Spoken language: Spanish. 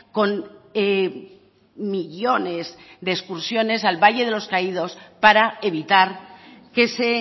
con millónes de excursiones al valle de los caídos para evitar que se